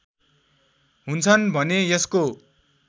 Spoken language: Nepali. हुन्छन् भने यसको